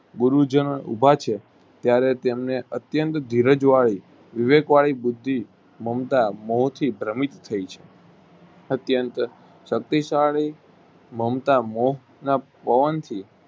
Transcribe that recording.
ગુરુજનો ઉભા છે ત્યારે તેમને અત્યન્ત ધીરજ વાળી વિવેક વાળી બુદ્ધિ મમતા મોહથી પર્વિત થય છે. અત્યન્ત શક્તિ શાળી મમતા મોહ ના પવન થી